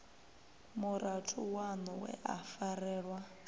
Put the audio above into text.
murathu waṋu we a farelwa